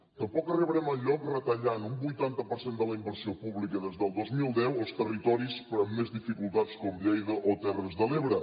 tampoc arribarem enlloc retallant un vuitanta per cent de la inversió pública des del dos mil deu als territoris amb més dificultats com lleida o terres de l’ebre